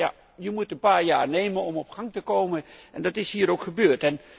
Maar je hebt een paar jaar nodig om op gang te komen en dat is hier ook gebeurd.